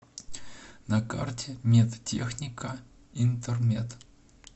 на карте медтехника интермед